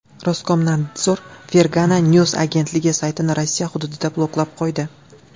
Roskomnadzor Fergana News agentligi saytini Rossiya hududida bloklab qo‘ydi .